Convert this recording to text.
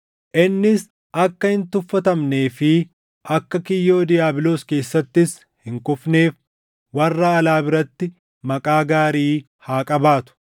Innis akka hin tuffatamnee fi akka kiyyoo diiyaabiloos keessattis hin kufneef warra alaa biratti maqaa gaarii haa qabaatu.